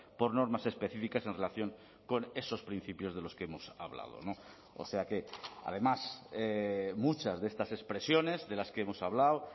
por normas específicas en relación con esos principios de los que hemos hablado o sea que además muchas de estas expresiones de las que hemos hablado